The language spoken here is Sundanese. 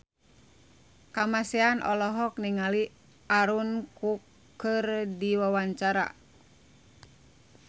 Kamasean olohok ningali Aaron Kwok keur diwawancara